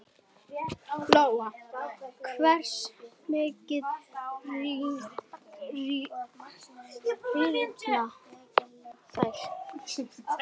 Lóa: Hversu mikið rýrna þær?